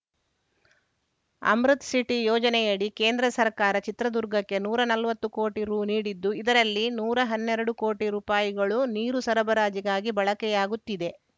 ಅಮೃತ್‌ಸಿಟಿ ಯೋಜನೆಯಡಿ ಕೇಂದ್ರ ಸರ್ಕಾರ ಚಿತ್ರದುರ್ಗಕ್ಕೆ ನೂರಾ ನಲ್ವತ್ತು ಕೋಟಿ ರು ನೀಡಿದ್ದು ಇದರಲ್ಲಿ ನೂರಾ ಹನ್ನೆರಡು ಕೋಟಿ ರುಪಾಯಿಗಳು ನೀರು ಸರಬರಾಜಿಗಾಗಿ ಬಳಕೆಯಾಗುತ್ತಿದೆ